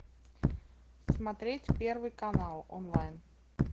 смотреть первый канал онлайн